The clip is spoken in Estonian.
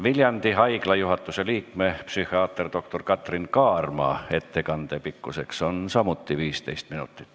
Viljandi Haigla juhatuse liikme, psühhiaater doktor Katrin Kaarma ettekande pikkus on samuti 15 minutit.